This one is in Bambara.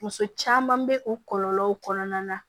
Muso caman bɛ o kɔlɔlɔw kɔnɔna na